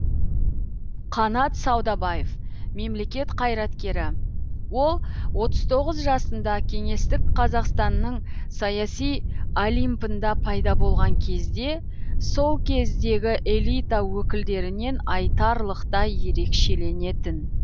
қанат саудабаев мемлекет қайраткері ол отыз тоғыз жасында кеңестік қазақстанның саяси олимпында пайда болған кезде сол кездегі элита өкілдерінен айтарлықтай ерекшеленетін